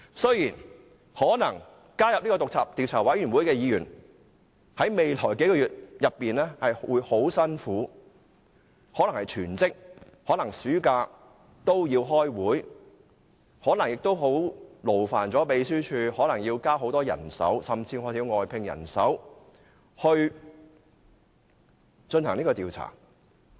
雖然加入專責委員會的議員，在未來幾個月可能會很辛苦，可能暑假也要開會，可能亦會勞煩秘書處增聘人手，甚至需要外聘人手進行調查。